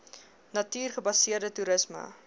natuur gebaseerde toerisme